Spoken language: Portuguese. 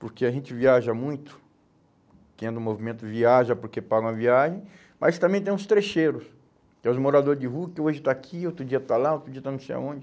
Porque a gente viaja muito, quem é do movimento viaja porque paga uma viagem, mas também tem uns trecheiros, que é os morador de rua, que hoje está aqui, outro dia está lá, outro dia está não sei aonde.